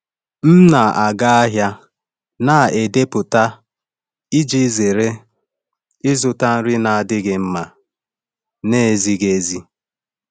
M na-aga ahịa na ndepụta iji zere ịzụta nri na-adịghị mma n’ezighị ezi.